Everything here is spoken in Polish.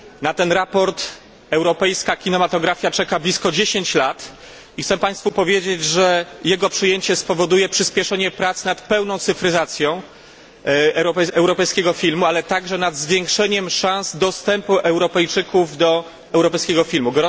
Na to sprawozdanie europejska kinematografia czeka blisko 10 lat i chcę Państwu powiedzieć, że jego przyjęcie spowoduje przyspieszenie prac nad pełną cyfryzacją europejskiego filmu, ale także nad zwiększeniem szans dostępu Europejczyków do europejskiego filmu.